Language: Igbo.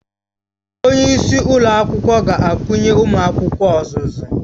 Onye isi ụlọ akwụkwọ ga-akụnye ụmụ akwụkwọ ọzụzụ